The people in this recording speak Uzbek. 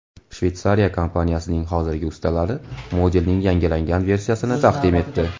Shveysariya kompaniyasining hozirgi ustalari modelning yangilangan versiyasini taqdim etdi.